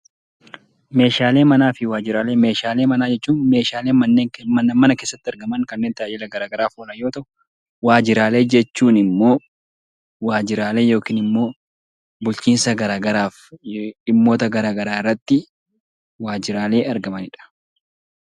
Meeshaalee manaa jechuun meeshaalee mana keessatti argaman, kanneen tajaajila gara garaaf oolan yoo ta'u, waajjiraalee jechuun immoo waajjiraalee yookiin immoo bulchiinsa gara garaaf dhimmoota gara garaa irratti waajjiraalee argamanidha.